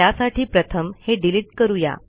त्यासाठी प्रथम हे डिलिट करू या